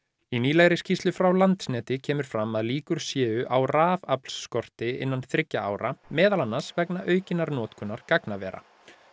í nýlegri skýrslu frá Landsneti kemur fram að líkur séu á innan þriggja ára meðal annars vegna aukinnar notkunar gagnavera